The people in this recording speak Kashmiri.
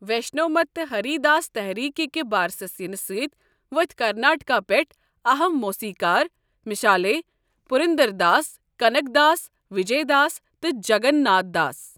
ویشنو مت تہٕ ہری داس تحریٖکہِ کہِ بارسس یِنہٕ سۭتۍ ؤتھۍ کرناٹکہ پٮ۪ٹھٕ اَہم موسیٖقار مثالے پُرنٛدرداس، کَنک داس، وِجے داس ، تہٕ جَگن ناتھ دَاس۔